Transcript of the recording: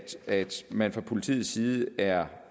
at man fra politiets side er